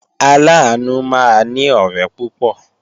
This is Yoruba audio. Aláàánú máa ní ọ̀rẹ́ púpọ̀